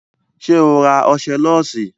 Ṣé o ra ọṣẹ lọ́ọ̀sì?